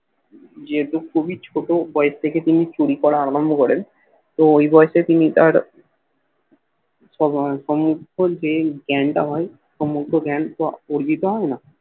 যেহেতু খুবই ছোট বয়স থেকে তিনি চুরি করা আরম্ভ করেন তো ঐ বয়সে তিনি তার সম্ভবত গেন টা হয় সমস্ত গেন তো অর্জিত হয় না